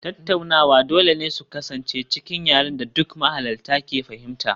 Tattaunawa dole ne su kasance cikin yaren da duk mahalarta ke fahimta